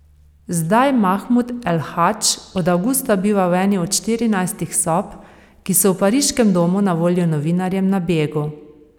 Zdaj Mahmud El Hadž od avgusta biva v eni od štirinajstih sob, ki so v pariškem domu na voljo novinarjem na begu.